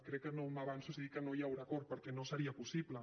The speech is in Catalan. crec que no m’avanço si dic que no hi haurà acord perquè no seria possible